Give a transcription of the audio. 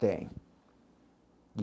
Tem e.